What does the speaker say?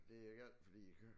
Det er galt fordi